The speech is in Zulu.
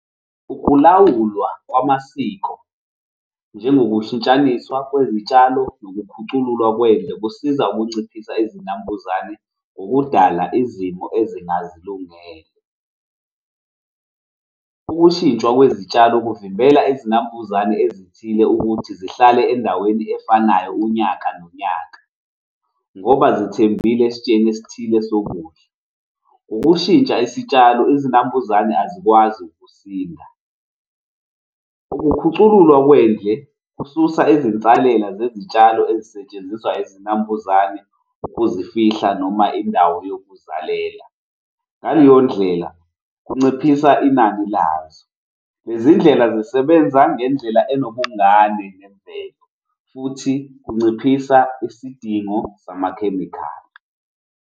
Ukulawulwa kwamasiko njengokushintshaniswa kwezitshalo nokukhuculula kwendle kusiza ukunciphisa izinambuzane ngokudala izimo ezingazilungele. Ukushintshwa kwezitshalo kuvimbela izinambuzane ezithile ukuthi zihlale endaweni efanayo unyaka nonyaka ngoba zithembile esitsheni esithile sokudla. Ukushintsha isitshalo izinambuzane azikwazi ukusinda. Ukukhucululwa kwendle kususa izinsalela zezitshalo ezisetshenziswa izinambuzane zokuzifihla noma indawo yokuzalela ngaleyo ndlela kunciphisa inani lazo. Lezindlela zisebenza ngendlela enobungani nemvelo futhi kunciphisa isidingo samakhemikhali.